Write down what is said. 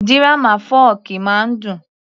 Dírámà fọ́ọ̀kì máa ń dùn